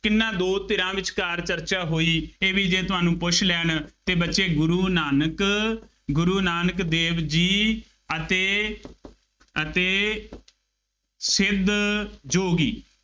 ਕਿੰਨਾ ਦੋ ਧਿਰਾਂ ਵਿਚਕਾਰ ਚਰਚਾ ਹੋਈ, ਇਹ ਵੀ ਜੇ ਤੁਹਾਨੂੰ ਪੁੱਛ ਲੈਣ ਅਤੇ ਬੱਚੇ ਗੁਰੂ ਨਾਨਕ, ਗੁਰੂ ਨਾਨਕ ਦੇਵ ਜੀ ਅਤੇ ਅਤੇ ਸਿੱਧ ਯੋਗੀ